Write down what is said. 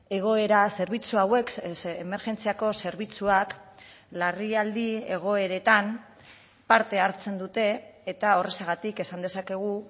egoera zerbitzu hauek emergentziako zerbitzuak larrialdi egoeretan parte hartzen dute eta horrexegatik esan dezakegu